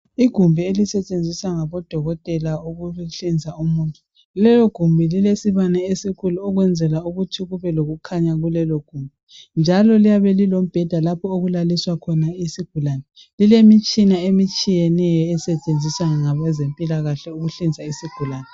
Igumbi elisetshenziswa ngodokotela ukuhlinza umuntu. Lelogumbi lilesibane esikhulu ukwenzela ukuthi kubelokukhanya kulelo gumbi njalo liyabe lilombheda lapho okulaliswa khona isigulane. Lilemitshina etshiyeneyo esetshenziswa ngabezempilakahle ukuhlinza isigulane.